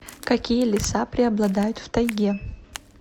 какие леса преобладают в тайге